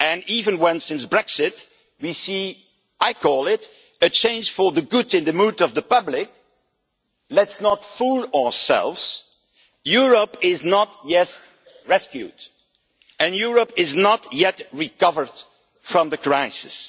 Even though since Brexit I see what I call a change for the good in the mood of the public, let us not fool ourselves Europe is not yet rescued and Europe has not yet recovered from the crisis.